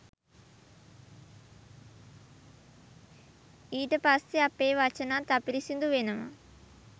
ඊට පස්සේ අපේ වචනත් අපිරිසිදු වෙනවා.